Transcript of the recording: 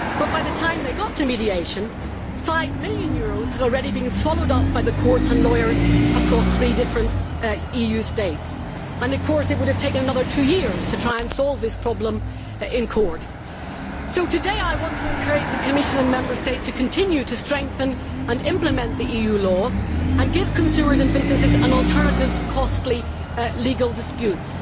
But by the time they reached mediation, EUR 5 million had already been swallowed up by the courts and lawyers across three different states, and it would have taken another two years to try and solve that problem in court. So today I want to encourage the Commission and Member States to continue to strengthen and implement the EU law and give consumers and businesses an alternative to costly legal disputes.